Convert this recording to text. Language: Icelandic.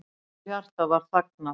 Móðurhjartað var þagnað.